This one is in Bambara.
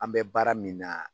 An bɛ baara min na